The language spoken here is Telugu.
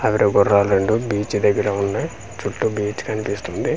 అవి గుర్రాలు రెండు బీచ్ దగ్గర ఉన్నాయ్ చుట్టూ బీచ్ కనిపిస్తుంది.